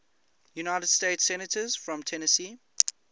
united states senators from tennessee